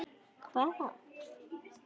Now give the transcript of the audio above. Hvað er að?